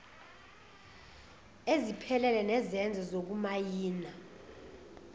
eziphelele zezenzo zokumayina